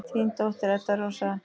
Þín dóttir, Edda Rósa.